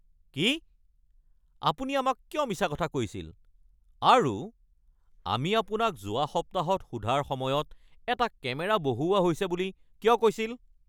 কি? আপুনি আমাক কিয় মিছা কথা কৈছিল আৰু আমি আপোনাক যোৱা সপ্তাহত সোধাৰ সময়ত এটা কেমেৰা বহুওৱা হৈছে বুলি কিয় কৈছিল? (পুলিচ)